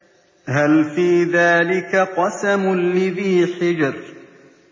هَلْ فِي ذَٰلِكَ قَسَمٌ لِّذِي حِجْرٍ